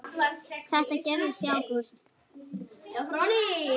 Þetta gerðist í ágúst.